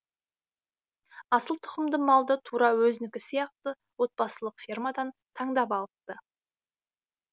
асыл тұқымды малды тура өзінікі сияқты отбасылық фермадан таңдап алыпты